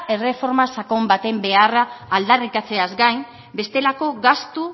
erreforma sakon baten beharra aldarrikatzeaz gain bestelako gastu